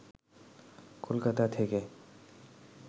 কলকাতা থেকে